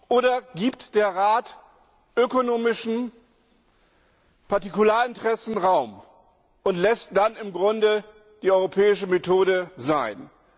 Oder gibt der Rat ökonomischen Partikularinteressen Raum und lässt dann im Grunde die europäische Methode sein?